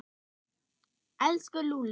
Elsku Lúlli.